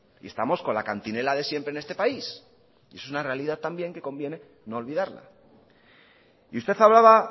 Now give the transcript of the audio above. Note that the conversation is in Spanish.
y estamos con la cantinela de siempre en este país y esa es una realidad también que conviene no olvidarla y usted hablaba